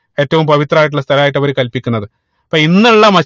ഏറ്റവും പവിത്രമായിട്ടുള്ള സ്ഥലായിട്ട് അവര് കൽപ്പിക്കുന്നത് അപ്പൊ ഇന്നുള്ള